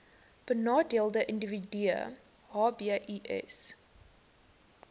benadeelde individue hbis